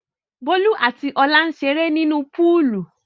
Bólú àti Ọlá ń ṣeré nínú púúlù.